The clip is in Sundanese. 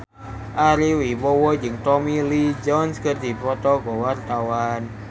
Ari Wibowo jeung Tommy Lee Jones keur dipoto ku wartawan